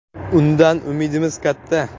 Undan umidimiz katta.